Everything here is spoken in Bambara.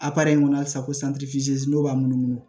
in kɔnɔ hali sisan ko n'o b'a munumunu